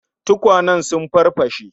Tukwanen sun farfashe